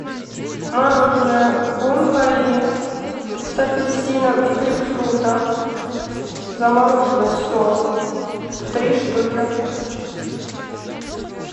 мороженое бон пари с апельсином и грейпфрутом замороженный сок три штуки